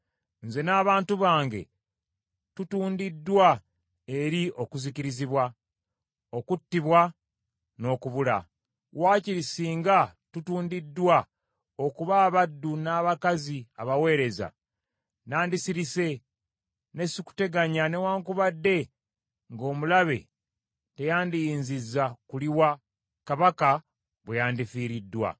Nze n’abantu bange tutuundiddwa eri okuzikirizibwa, okuttibwa n’okubula. Wakiri singa tutuundiddwa okuba abaddu n’abakazi abaweereza, nandisirise ne sikuteganya newaakubadde nga omulabe teyandiyinzizza kuliwa kabaka bwe yandifiiriddwa.”